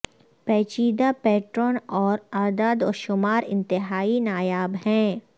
پیچیدہ پیٹرن اور اعداد و شمار انتہائی نایاب ہیں